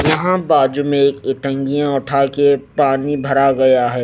यहां बाजू में इटांगिया उठा के पानी भर गया है।